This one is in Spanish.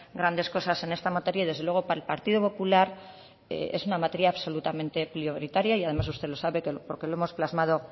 grandes cosas en esta materia y desde luego para el partido popular es una materia absolutamente prioritaria y además usted lo sabe porque lo hemos plasmado